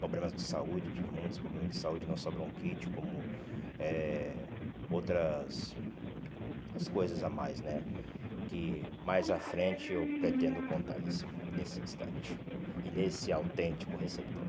Problemas de saúde, tive muitos problemas de saúde, não só bronquite, como eh outras outras coisas a mais né, que mais à frente eu pretendo contar nesse nesse instante e nesse autêntico receptor.